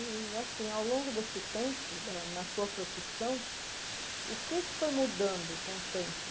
E, assim, ao longo desse tempo, hã na tua profissão, o que é que foi mudando com o tempo?